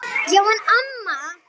Já en amma.